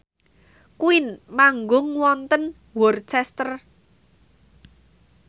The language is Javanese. Queen manggung wonten Worcester